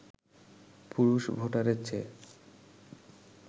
পুরুষ ভোটারের চেয়ে